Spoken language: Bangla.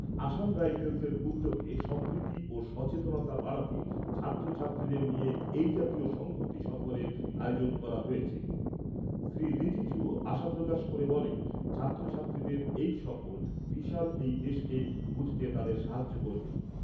আসাম রাইফেলসের উদ্যোগে সম্প্রীতি ও সচেতনতা বাড়াতে ছাত্রছাত্রীদের নিয়ে এই জাতীয় সংহতি সফরের আয়োজন করা হয়েছে শ্রী রিজিজু আশা প্রকাশ করে বলেন, ছাত্রছাত্রীদের এই সফর বিশাল এই দেশকে বুঝতে তাদেরকে সাহায্য করবে।